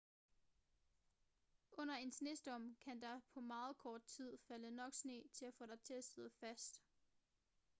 under en snestorm kan der på meget kort tid falde nok sne til at få dig til at sidde fast